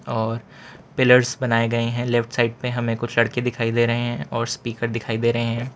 और पिलर्स बनाए गए हैं लेफ्ट साइड में हमें कुछ लड़के दिखाई दे रहे हैं और स्पीकर दिखाई दे रहे हैं।